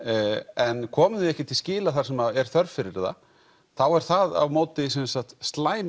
en komum því ekki til skila þar sem er þörf fyrir það þá er það á móti slæm